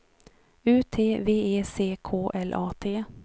U T V E C K L A T